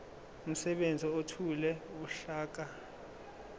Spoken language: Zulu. umsebenzi ethule uhlaka